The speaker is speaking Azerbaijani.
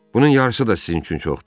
Bunun yarısı da sizin üçün çoxdur.